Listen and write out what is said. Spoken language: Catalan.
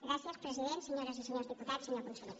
gràcies president senyores i senyors diputats senyor conseller